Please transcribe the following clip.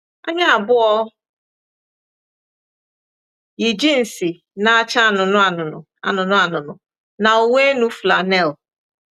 Anyị abụọ yi jịnsị na-acha anụnụ anụnụ anụnụ anụnụ na uwe-enu flannel.